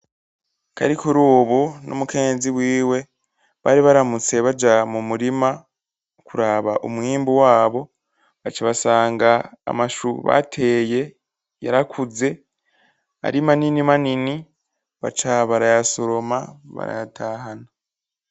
Karikurubu n'umukenyezi wiwe bari baramutse baja mu murima kuraba umwimbu wabo, baca basanga amashu bateye yarakuze ari manini manini, baca barayasoroma barayatahana.